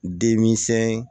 Deminsɛnni